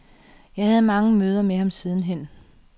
Jeg havde mange møder med ham siden hen.